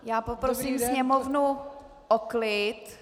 Já poprosím sněmovnu o klid.